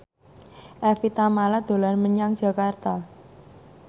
Evie Tamala dolan menyang Jakarta